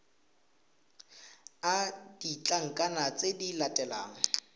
le ditlankana tse di latelang